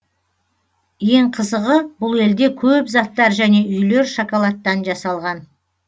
ең қызығы бұл елде көп заттар және үйлер шоколадтан жасалған